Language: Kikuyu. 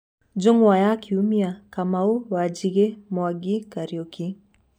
Njũng'wa ya Kiumia: Kamau, Wanjigi, Mwangi, Kariuki